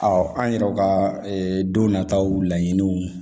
an yɛrɛ ka don nataw laɲiniw